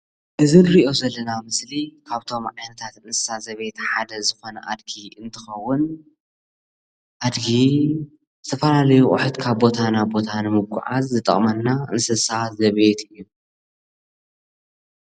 እዚ ንሪኦ ዘለና ምስሊ ካብቶም ዓይነታት እንስሳት ዘብየት ሓደ ዝኮነ አድጊ እንትከውን አድጊ ዝተፈላለዩ አቁሑት ካብ ቦታ ናብ ቦታ ንምጉዕዓዝ ዝጠቅመና እንስሳ ዘቤት እዩ።